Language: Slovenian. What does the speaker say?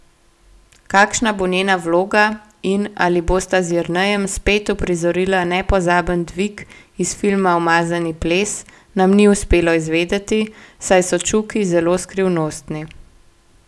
Kakšna bo njena vloga in ali bosta z Jernejem spet uprizorila nepozaben dvig iz filma Umazani ples, nam ni uspelo izvedeti, saj so Čuki zelo skrivnostni.